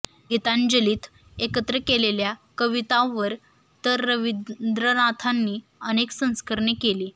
गीतांजलीत एकत्र केलेल्या कवितांवर तर रवींद्रनाथांनी अनेक संस्करणे केली